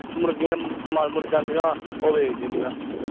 ਮੁਰਗੀਆਂ ਮਰ ਮੁਰ ਜਾਂਦੀਆਂ ਉਹ ਵੇਚ ਦੀ ਦੀਆ